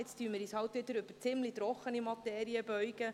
Nun werden wir uns wieder über eine ziemlich trockene Materie beugen.